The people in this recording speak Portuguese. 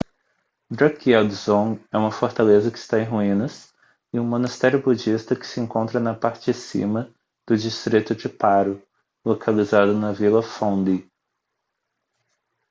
drukgyel dzong é uma fortaleza que está em ruínas e um monastério budista que se encontra na parte de cima do distrito de paro localizado na vila phondey